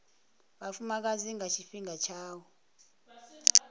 vhafumakadzi nga tshifhinga tsha u